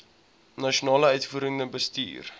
nasionale uitvoerende bestuur